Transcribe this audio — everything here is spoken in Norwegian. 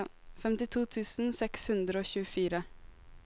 femtito tusen seks hundre og tjuefire